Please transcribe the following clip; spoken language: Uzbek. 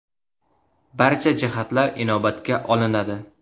Barcha jihatlar inobatga olinadi.